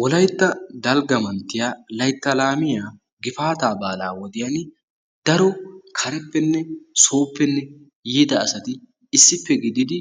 Wolaytta dalgga manttiya laytta laamiya gifaataa baalaa wodiyan daro kareppenne sooppene yiida asati issippe gididi